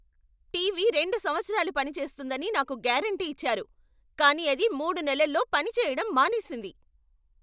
TV రెండు సంవత్సరాలు పనిచేస్తుందని నాకు గ్యారెంటీ ఇచ్చారు, కానీ అది మూడు నెలల్లో పని చేయడం మానేసింది!